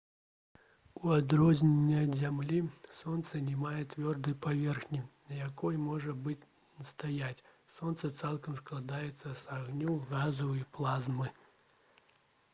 у адрозненні ад зямлі сонца не мае цвёрдай паверхні на якой можна было б стаяць сонца цалкам складаецца з агню газаў і плазмы